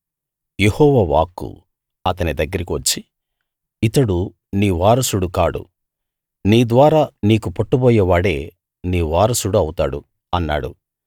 యెహోవా వాక్కు అతని దగ్గరికి వచ్చి ఇతడు నీ వారసుడు కాడు నీ ద్వారా నీకు పుట్టబోయేవాడే నీ వారసుడు అవుతాడు అన్నాడు